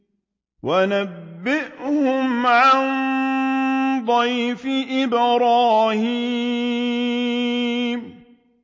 وَنَبِّئْهُمْ عَن ضَيْفِ إِبْرَاهِيمَ